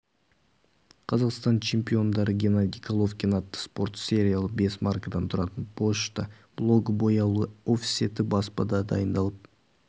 қазақстан чемпиондары геннадий головкин атты спорт сериялы бес маркадан тұратын пошта блогы бояулы офсетті баспада дайындалып